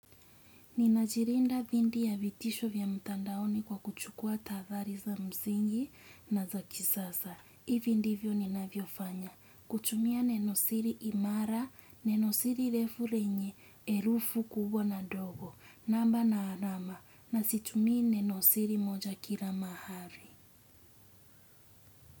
Ninajilinda dhidi ya vitisho vya mtandaoni kwa kuchukua tahadhari za msingi na za kisasa. HIvi ndivyo ninavyofanya. Kutumia nenosiri imara, nenosiri refu lenye herufi kubwa na ndogo. Namba na alama. Na situmii neno siri moja kila mahali.